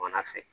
Wɔl'a fɛ